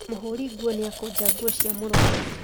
Mũhũri nguo nĩakũnja ngũo cia mũrũaru